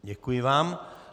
Děkuji vám.